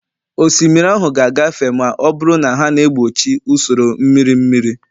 osimiri ahụ ga-agafe ma ọ bụrụ na ha na-egbochi usoro mmiri mmiri